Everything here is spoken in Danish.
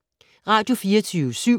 Radio24syv